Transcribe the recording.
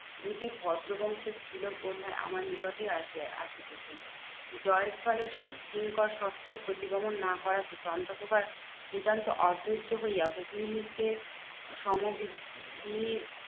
দুটি ভদ্র বংশের স্ত্রীলোক বোধহয় আমার নিকটই আসিয়া আসিতেছে। জয়স্থলে কিঙ্কর সত্তর প্রতিগমন না করাতে চন্দ্রপ্রভা নিতান্ত অধৈয্য হইয়া ভগিনীকে